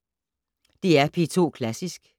DR P2 Klassisk